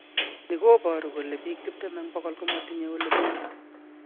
Ni koboru kole biik tiptem eng bokol komatinye ole menye